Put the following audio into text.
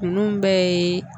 Ninnu bɛɛ ye